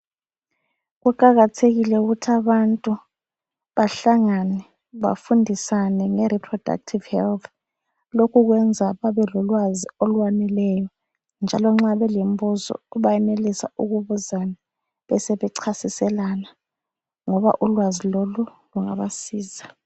Kuqakathekile ukuthi abantu bahlangane bafundisane ngeReproductive health. Lokhu kwenza babe lolwazi olwaneleyo njalo nxa belembuzo bayenelisa ukubuzana besebechasiselana ngoba ulwazi lolu lungabasiza.